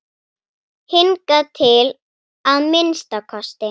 Hingað til að minnsta kosti.